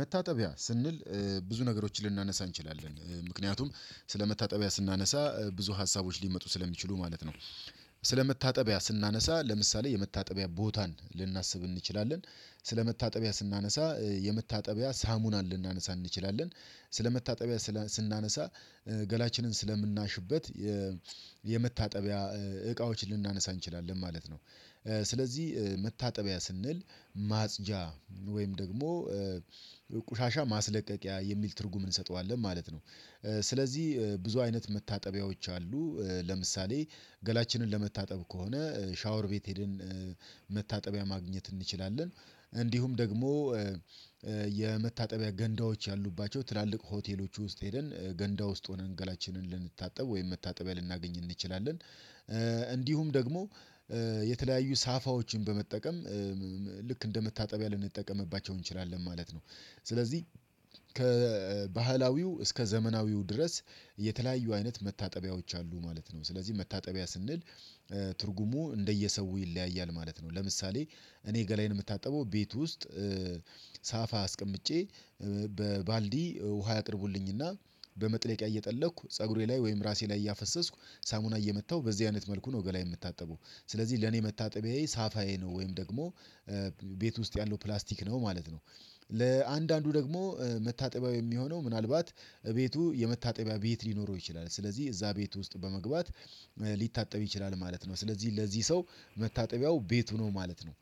መታጠቢያ ስንል ብዙ ነገሮችን ልናነሳ እንችላለን ምክንያቱም ስለመታጠቢያ ስናነሳ ብዙ ሀሳቦች ሊመጡ ስለሚችሉ ማለት ነው። ስለመታጠቢያ ስናነሳ ለምሳሌ የመታጠቢያ ቦታን ልናስብ እንችላለን ስለመታጠቢያ ስናነሳ የመታጠቢያ ሳሙናን ልናነሳ እንችላለን ስለመታጠቢያ ስናነሳ ገላችንን ስለምናሽበት የመታጠቢያ እቃዎች ልናነሳ እንችላለን ማለት ነው። ስለዚህ መታጠቢያ ስንል ማጽጃ ወይም ደግሞ ቆሻሻ ማስለቀቂያ የሚል ትርጉም እንሰጠዋለን ማለት ነው። ስለዚህ ብዙ አይነት መታጠቢያዎች አሉ። ለምሳሌ ገላችንን ለመታጠብ ከሆነ ሻወር ቤት ሄድን መታጠቢያ ማግኘት እንችላለን። እንዲሁም ደግሞ የመታጠቢያ ገንዳዎች ያሉባቸው ትላልቅ ሆቴሎች ውስጥ ሄደን ገንዳ ውስጥ ሆነን ገላችንን ልንታጠብ ወይም መታጠቢያ ልናገኝ እንችላለን። እንዲሁም ደግሞ የተለያዩ ሳፋዎችን በመጠቀም ልክ እንደመታጠቢያ ልንጠቀምባቸው እንችላለን ማለት ነው። ስለዚህ ከባህላዊው እስከ ዘመናዊው ድረስ የተለያዩ አይነት መታጠቢያዎች አሉ ማለት ነው። ስለዚህ መታጠቢያ ስንል ትርጉሙ እንደየሰው ይለያያል ማለት ነው። ለምሳሌ እኔ ገላዬን የምታጠበው ቤት ውስጥ ሳፋ አስቀምጬ በባልዲ ውሃ ያቅርቡልኝ እና በመጥለቂያ እየጠለኩ ፀጉሬ ላይ ወይም ራሴ ላይ እያፈሰስኩ ሳሙና እየመታሁ በዚህ አይነት መልኩ ገላዬን የምታጠበው ስለዚህ ለኔ መታጠቢያዬ ሳፋዬ ነው። ወይም ደግሞ ቤት ውስጥ ያለው ፕላስቲክ ነው ማለት ነው። ለአንዳንዱ ደግሞ መታጠቢያው የሚሆነው ምናልባት ቤቱ የመታጠቢያ ቤት ሊኖረው ይችላል ስለዚህ እዛ ቤት ውስጥ በመግባት ሊታጠብ ይችላል ማለት ነው። ስለዚህ ለዚህ ሰው መታጠቢያው ቤቱ ነው ማለት ነው።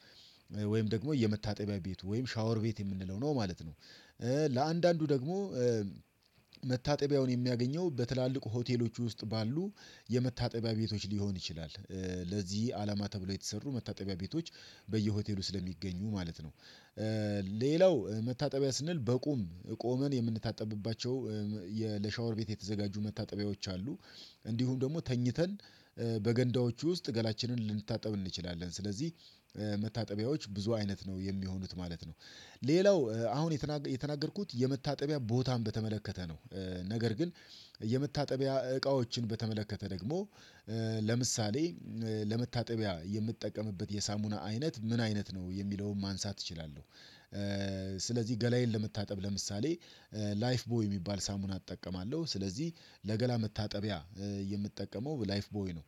ወይም ደግሞ የመታጠቢያ ቤቱ ወይም ሻወር ቤት የምንለው ነው ማለት ነው። ለአንዳንዱ ደግሞ መታጠቢያውን የሚያገኘው በትላልቅ ሆቴሎች ውስጥ ባሉ የመታጠቢያ ቤቶች ሊሆን ይችላል ለዚህ አላማ ተብሎ የተሰሩ መታጠቢያ ቤቶች በየሆቴሉ ስለሚገኙ ማለት ነው። ሌላው መታጠቢያ ስንል በቁም ቆመን የምንታጠብባቸው ለሻወር ቤት የተዘጋጁ መታጠቢያዎች አሉ። እንዲሁም ደግሞ ተኝተን በገንዳዎቹ ውስጥ ገላችንን ልንታጠብ እንችላለን ስለዚህ መታጠቢያዎች ብዙ አይነት ነው የሚሆኑት ማለት ነው። ሌላው አሁን የተናገርኩት የመታጠቢያ ቦታን በተመለከተ ነው። ነገር ግን የመታጠቢያ እቃዎችን በተመለከተ ደግሞ ለምሳሌ ለመታጠቢያ የምትጠቀምበት የሳሙና አይነት ምን አይነት ነው የሚለውን ማንሳት እችላለሁ? ስለዚህ ገላዬን ለመታጠብ ለምሳሌ ላይፍ ቦይ የሚባል ሳሙና እጠቀማለሁ ስለዚህ ለገላ መታጠቢያ የምጠቀመው ላይፍ ቦይ ነው።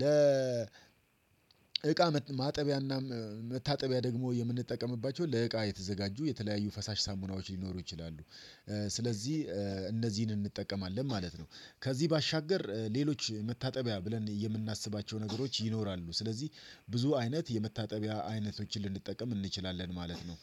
ለ እቃ ማጠቢያና መታጠቢያ ደግሞ የምንጠቀምባቸው ለእቃ የተዘጋጁ የተለያዩ ፈሳሽ ሳሙናዎች ሊኖሩ ይችላሉ። ስለዚህ እነዚህን እንጠቀማለን ማለት ነው። ከዚህ ባሻገር ሌሎች መታጠቢያ ብለን የምናስባቸው ነገሮች ይኖራሉ። ስለዚህ ብዙ አይነት የመታጠቢያ አይነቶችን ልንጠቀም እንችላለን ማለት ነው።